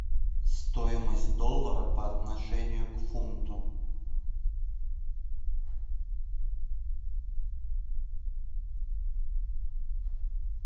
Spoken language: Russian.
стоимость доллара по отношению к фунту